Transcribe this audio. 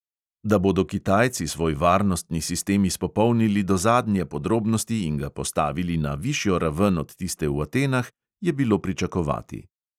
Da bodo kitajci svoj varnostni sistem izpopolnili do zadnje podrobnosti in ga postavili na višjo raven od tiste v atenah, je bilo pričakovati.